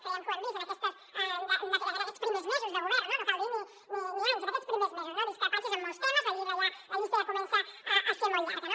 creiem que ho hem vist en aquests primers mesos de govern no cal dir ni anys en aquests primers mesos no discrepàncies en molts temes la llista ja comença a ser molt llarga